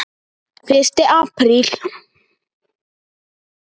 Fyrsti apríl.